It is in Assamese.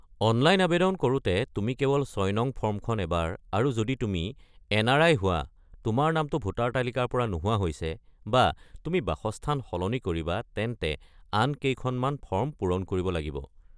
অনলাইন আৱেদন কৰোঁতে তুমি কেৱল ৬নং ফৰ্মখন এবাৰ আৰু যদি তুমি এন.আৰ.আই. হোৱা, তোমাৰ নামটো ভোটাৰ তালিকাৰ পৰা নোহোৱা হৈছে, বা তুমি বাসস্থান সলনি কৰিবা তেন্তে আন কেইখনমান ফৰ্ম পূৰণ কৰিব লাগিব।